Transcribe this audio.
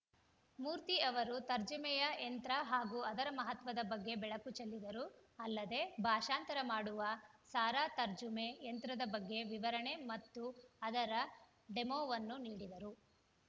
ಮೂರ್ತಿ ಅವರು ತರ್ಜುಮೆಯ ಯಂತ್ರ ಹಾಗೂ ಅದರ ಮಹತ್ವದ ಬಗ್ಗೆ ಬೆಳಕು ಚೆಲ್ಲಿದರು ಅಲ್ಲದೆ ಭಾಷಾಂತರ ಮಾಡುವ ಸಾರಾ ತರ್ಜುಮೆ ಯಂತ್ರದ ಬಗ್ಗೆ ವಿವರಣೆ ಮತ್ತು ಅದರ ಡೆಮೋವನ್ನು ನೀಡಿದರು